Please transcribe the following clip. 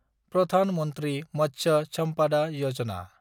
Pradhan Mantri Matsya Sampada Yojana